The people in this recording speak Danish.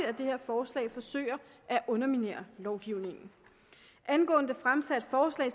at det her forslag forsøger at underminere lovgivningen angående det fremsatte forslag